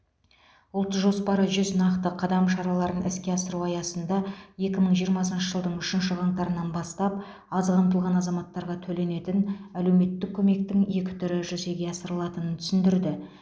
ұлт жоспары жүз нақты қадам шараларын іске асыру аясында екі мың жиырмасыншы жылдың үшінші қаңтарынан бастап аз қамтылған азаматтарға төленетін әлеуметтік көмектің екі түрі жүзеге асырылатынын түсіндірді